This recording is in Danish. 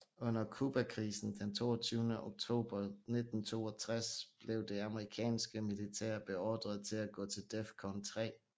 Under Cubakrisen den 22 oktober 1962 blev det amerikanske militær beordret til at gå til DEFCON 3